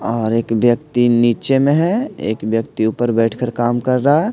और एक व्यक्ति नीचे में है एक व्यक्ति ऊपर बैठकर काम कर रहा है।